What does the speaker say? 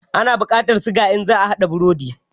Ana buƙatar suga in za a haɗa burodi.